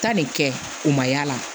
Taa nin kɛ u ma y'a la